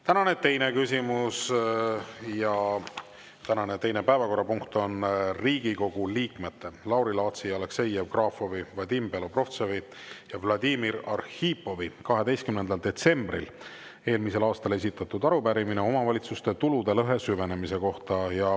Tänane teine päevakorrapunkt on Riigikogu liikmete Lauri Laatsi, Aleksei Jevgrafovi, Vadim Belobrovtsevi ja Vladimir Arhipovi 12. detsembril eelmisel aastal esitatud arupärimine omavalitsuste tulude lõhe süvenemise kohta.